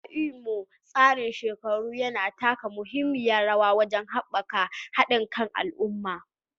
A Imo, tsarin shekaru yana taka muhimmiyar rawa wajen haɓaka haɗin kan al'umma